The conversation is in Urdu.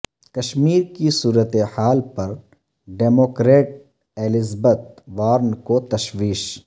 کشمیر کی صورتحال پر ڈیموکریٹ ایلزبتھ وارن کو تشویش